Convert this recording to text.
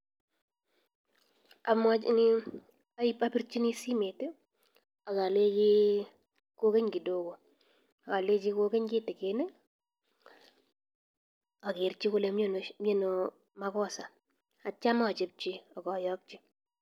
Aporchin simoit akolechi kokeny kidogo alechi kokeny kitikin akerchi ale miano makosa aitcho achopchi akayokchi.